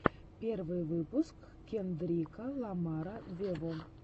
первый выпуск кендрика ламара вево